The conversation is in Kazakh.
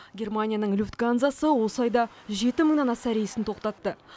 германияның люфтгансасы осы айда жеті мыңнан аса рейсін тоқтатты